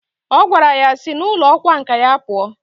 O gwara ya sI na ulo okwa nka ya pua!